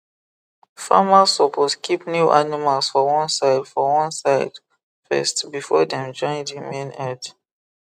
farmers suppose keep new animals for one side for one side first before dem join the main herd